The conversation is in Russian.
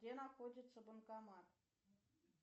где находится банкомат